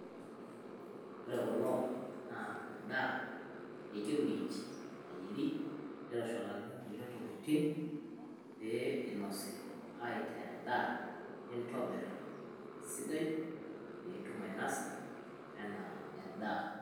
Ore kuloo naa endaa ejo miinji nayeeri neitoshonakini kulee ntokitin pee inosii aitee endaa, intobir sidaa pii intuum ainasaa enaa endaa.